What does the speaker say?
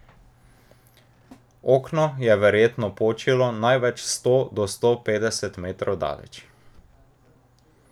Okno je verjetno počilo največ sto do sto petdeset metrov daleč.